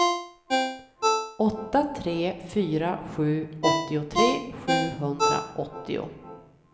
åtta tre fyra sju åttiotre sjuhundraåttio